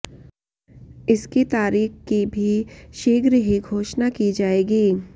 इसकी तारीख की भी शीघ्र ही घोषणा की जाएगी